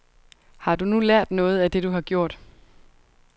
Har du nu lært noget af det, du har gjort.